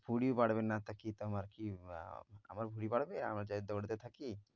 ভুঁড়ি বাড়বে না তো কি তোমার কি বা~ আমার ভুঁড়ি বাড়বে আমি যে দৌঁড়তে থাকি?